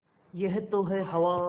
यह तो है हवा